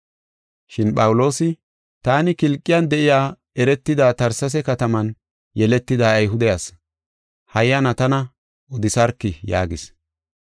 Shin Phawuloosi, “Taani, Kilqiyan de7iya eretida Tersesee kataman yeletida Ayhude asi. Hayyana tana odisarkii?” yaagis.